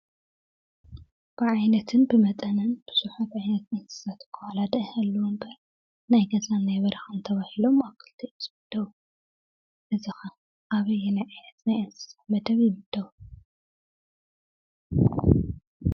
ብ ዓይነትን ብመጠንን ብዙሓት እንስሳ ዋላ ዳኣ ይሃልዉ እንበር ናይ ገዛን ናይ በረኻን ተባሂሎም ኣብ ክልተ እዮም ዝምደቡ:: እዚ ኸ ኣበየናይ ዓይነት ናይ እንስሳ መደብ ይምደቡ?